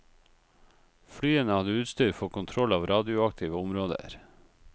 Flyene hadde utstyr for kontroll av radioaktive områder.